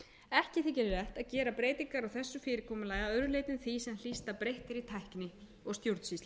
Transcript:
ekki þykir vert að gera breytingar á þessu fyrirkomulagi að öðru leyti en því sem snýst að breyttri tækni og stjórnsýslu